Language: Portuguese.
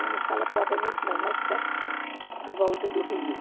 provavelmente não, mas pertinho, à volta do rio.